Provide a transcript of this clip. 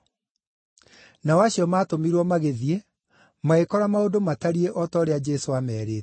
Nao acio maatũmirwo magĩthiĩ, magĩkora maũndũ matariĩ o ta ũrĩa Jesũ aamerĩte.